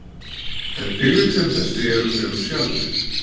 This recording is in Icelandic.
En tilvik sem þessi eru fremur sjaldgæf.